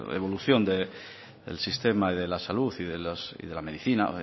evolución del sistema de la salud y de la medicina